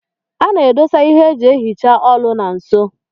A na-edosa ihe eji ehicha olu na nso.